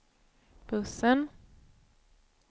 bussen